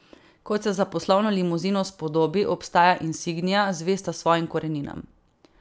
Kot se za poslovno limuzino spodobi, ostaja insignia zvesta svojim koreninam.